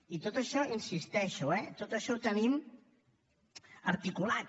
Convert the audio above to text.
i tot això hi insisteixo eh tot això ho tenim articulat